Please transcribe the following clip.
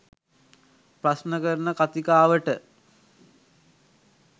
ප්‍රශ්න කරන කතිකාවට